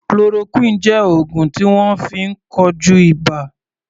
Chloroquine jẹ́ oògùn tí wọ́n fi ń kojú ibà.